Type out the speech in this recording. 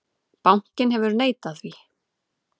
Bankinn hefur neitað því.